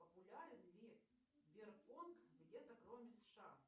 популярен ли бирпонг где то кроме сша